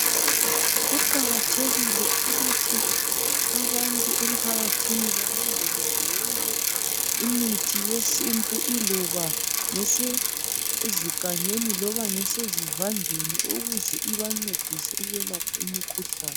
Kuqakathekile ukuthi abantu emphakathini balondoloze yonke imithi yesintu iloba ezigangeni loba ngese zivandeni ukuze ibancedise ukwelapha imikhuhlane.